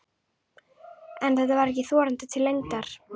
En þetta var ekki þorandi til lengdar.